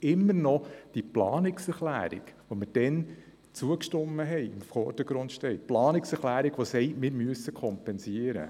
Weil die Planungserklärung, der wir damals zugestimmt hatten, immer noch im Vordergrund steht – die Planungserklärung, die eine Kompensation fordert.